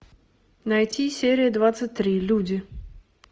найти серия двадцать три люди